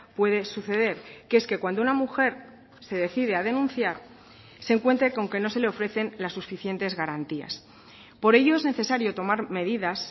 puede suceder que es que cuando una mujer se decide a denunciar se encuentre con que no se le ofrecen las suficientes garantías por ello es necesario tomar medidas